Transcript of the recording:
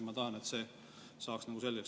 Ma tahan, et see saaks selgeks.